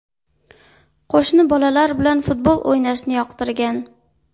Qo‘shni bolalar bilan futbol o‘ynashni yoqtirgan.